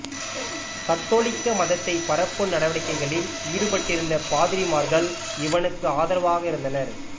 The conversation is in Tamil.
கத்தோலிக்க மதத்தைப் பரப்பும் நடவடிக்கைகளில் ஈடுபட்டிருந்த பாதிரிமார்கள் இவனுக்கு ஆதரவாக இருந்தனர்